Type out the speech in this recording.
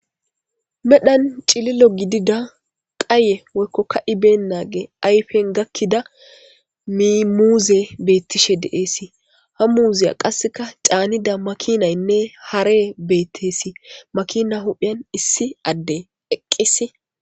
Medhon cililo gidida Qaye Woyko Kai benagey Ayfen gakida Min muzey betishe de'es Ha muziya Qaseka Canida makinayne harry betesi Makina hupheni issi adey eqis